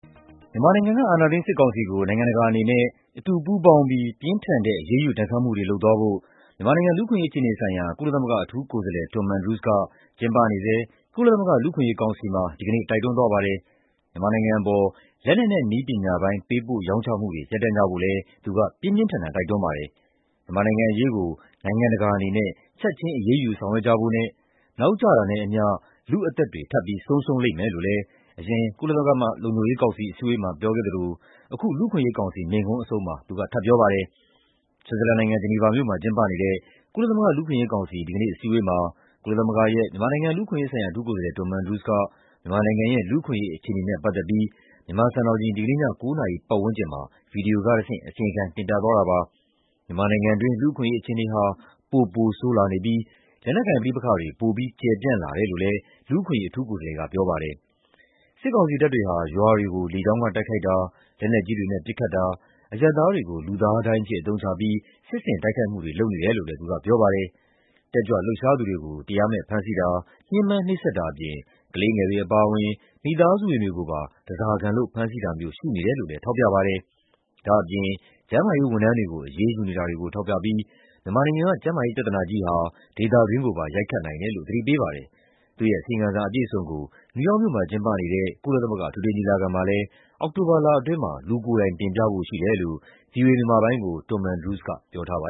မြန်မာနိုင်ငံက အာဏာသိမ်းစစ်ကောင်စီကို နိုင်ငံတကာအနေနဲ့ အတူပူးပေါင်းပြီး ပြင်းထန်တဲ့အရေးယူဒဏ်ခတ်မှုတွေလုပ်သွားဖို့ မြန်မာလူ့အခွင့်အရေးဆိုင်ရာ ကုလသမဂ္ဂအထူးကိုယ်စားလှယ် Tom Andrews က ကျင်းပနေတဲ့ ကုလသမဂ္ဂလူ့အခွင့်အရေးကောင်စီမှာ တိုက်တွန်းသွားပါတယ်။ မြန်မာနိုင်ငံအပေါ် လက်နက်နဲ့ နည်းပညာပိုင်း ပေးပို့ရောင်းချမှုတွေ ရပ်တန့်ကြဖို့လည်း သူက ပြင်းပြင်းထန်ထန်တိုက်တွန်းပါတယ်။ မြန်မာနိုင်ငံအရေးကို နိုင်ငံတကာအနေနဲ့ ချက်ခြင်းအရေးယူဆောင်ရွက်ကြဖို့နဲ့ နောက်ကျတာနဲ့အမျှ လူအသက်တွေ ထပ်ပြီးဆုံးရှုံးလိမ့်မယ်လို့လည်း အရင်ကုလလုံခြုံရေးကောင်စီအစည်းအဝေးမှာပြောခဲ့တာကို အခု လူ့အခွင့်အရေးကောင်စီမိန့်ခွန်းအဆုံးမှာ သူက ထပ်ပြောပါတယ်။ ဆွစ်ဇာလန်နိုင်ငံ၊ ဂျနီဗာမြို့မှာ ကျင်းပနေတဲ့ ကုလသမဂ္ဂ လူ့အခွင့်အရေးကောင်စီ ဒီကနေ့ အစည်းအဝေးမှာကုလသမဂ္ဂရဲ့ မြန်မာနိုင်ငံ လူ့အခွင့်အရေးဆိုင်ရာ အထူးကိုယ်စားလှယ် Tom Andrews က မြန်မာနိုင်ငံရဲ့ လူ့အခွင့်အရေး အခြေအနေနဲ့ပတ်သက်ပြီး မြန်မာစံတော်ချိန် ဒီကနေ့ည ၉ နာရီပတ်ဝန်းကျင်မှာ ဗွီဒီယိုကတဆင့် အစီရင်ခံ တင်ပြသွားတာပါ။ မြန်မာနိုင်ငံတွင်းလူ့အခွင့်အရေးအခြေအနေဟာ ပိုပိုဆိုးလာနေပြီး၊ လက်နက်ကိုင်ပဋိပက္ခတွေ ပိုပြီး ကျယ်ပြန့်လာတယ်လို့လည်း လူ့အခွင့်အရေးအထူးကိုယ်စားလှယ်ကပြောပါတယ်။ စစ်ကောင်စီတပ်တွေဟာ ရွာတွေကို လေကြောင်းကတိုက်ခိုက်တာ လက်နက်ကြီးတွေနဲ့ပစ်ခတ်တာ အရပ်သားတွေကို လူသားဒိုင်းအဖြစ်အသုံးချပြီး စစ်ဆင်တိုက်ခိုက်မှုတွေလုပ်နေတယ်လို့လည်း သူက ပြောသွားပါတယ်။ တတ်ကြွလှုပ်ရှားသူတွေကို တရားမဲ့ဖမ်းဆီးတာ ညှင်းပမ်းနှိပ်စက်တာအပြင်၊ ကလေးငယ်တွေအပါအဝင် မိသားစုဝင်တွေကိုပါ ဓါးစားခံလုပ်ဖမ်းဆီးတာမျိုးရှိနေတယ်လို့လည်း ထောက်ပြပါတယ်။ ဒါ့အပြင် ကျန်းမာရေးဝန်ထမ်းတွေကို အရေးယူနေတာတွေကို ထောက်ပြီး ၊ မြန်မာပြည်က ကျန်းမာရေးပြဿနာကြီးဟာ ဒေသတွင်းကိုပါ ရိုက်ခတ်နိုင်တယ်လို့သတိပေးပါတယ်။ သူ့ရဲ့ အစီရင်ခံစာအပြည့်အစုံကို နယူးယောက်မြို့မှာကျင်းပနေတဲ့ ကုလသမဂ္ဂအထွေထွေညီလာခံမှာလည်း အောက်တိုဘာလထဲမှာ လူကိုယ်တိုင်တင်ပြဖို့ရှိတယ်လို့ ဗွီအိုအေ မြန်မာပိုင်းကို Tom Andrews က ပြောထားပါ